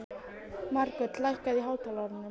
Margot, lækkaðu í hátalaranum.